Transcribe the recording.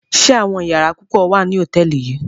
Ṣe àwọn yàrá pupọ wa ni hotẹẹli yii?